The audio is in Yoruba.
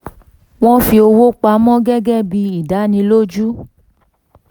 wọ́n fi owó pa mọ́ gẹ́gẹ́ bí ìdánilójú